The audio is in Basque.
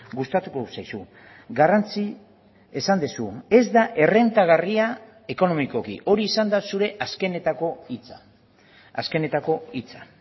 gustatuko zaizu garrantzi esan duzu ez da errentagarria ekonomikoki hori izan da zure azkenetako hitza azkenetako hitza